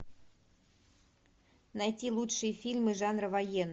найти лучшие фильмы жанра военный